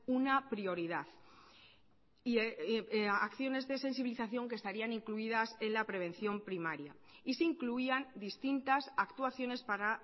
una prioridad y acciones de sensibilización que estarían incluidas en la prevención primaria y se incluían distintas actuaciones para